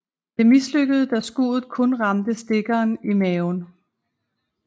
Det mislykkedes da skuddet kun ramte stikkeren i maven